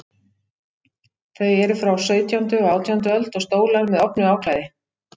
Þau eru frá sautjándu og átjándu öld, og stólar með ofnu áklæði.